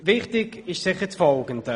Wichtig ist sicher das Folgende: